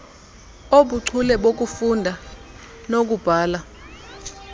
obuchule bokufunda nokubhala